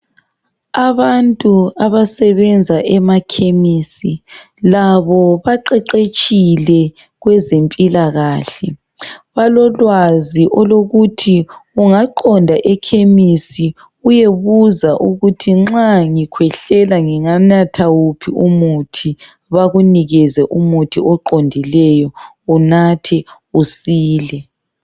Abantu abasebenza emakhemisi labo baqeqetshile kwezempilakahle, balolwazi olokuthi ungaqonda ekhemisi uyebuza ukuthi nxa ngikhwehlela nginganatha wuphi umuthi bakunikeze umuthi oqondileyo unathe usile.